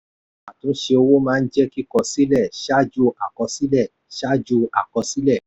àtúnṣe owó máa ń jẹ́ kíkọ sílẹ̀ ṣáájú àkọsílẹ̀. ṣáájú àkọsílẹ̀.